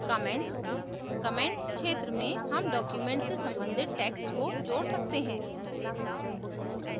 commentscomments क्षेत्र में हम document से सम्बंधित text को जोड़ सकते हैं